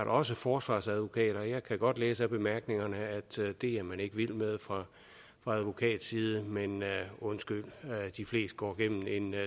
også forsvarsadvokater jeg kan godt læse af bemærkningerne at det er man ikke vild med fra advokatside men undskyld de fleste går gennem en